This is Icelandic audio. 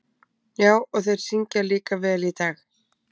Já, og þeir syngja líka vel í dag.